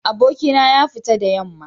Abokina ya fita da yamma